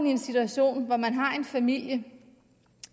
i en situation hvor man har en familie